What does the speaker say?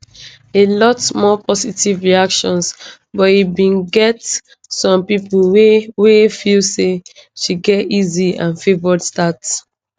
a lot more positive reactions but e bin get some pipo wey wey feel say she get easy and favoured start